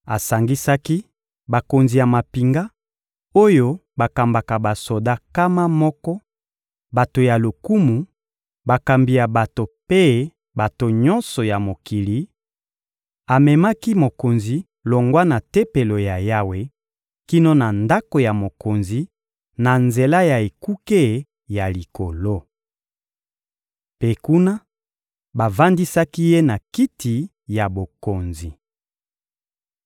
Asangisaki bakonzi ya mampinga, oyo bakambaka basoda nkama moko, bato ya lokumu, bakambi ya bato mpe bato nyonso ya mokili; amemaki mokonzi longwa na Tempelo ya Yawe kino na ndako ya mokonzi, na nzela ya ekuke ya likolo. Mpe kuna, bavandisaki ye na kiti ya bokonzi.